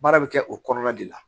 Baara bɛ kɛ o kɔnɔna de la